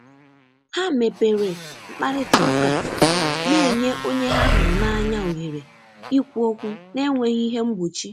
Ha mepere mkparịta ụka, na-enye onye ha hụrụ n’anya ohere ikwu okwu n’enweghị ihe mgbochi.